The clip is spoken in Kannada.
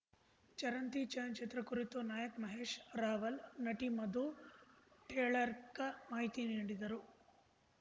ಚರಂತಿ ಚಲನಚಿತ್ರ ಕುರಿತು ನಾಯಕ್ ಮಹೇಶ್‌ ರಾವಲ್‌ ನಟಿ ಮಧು ಟೀಳೆರ್ಕ ಮಾಹಿತಿ ನೀಡಿದರು